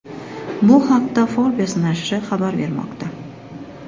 Bu haqda Forbes nashri xabar bermoqda .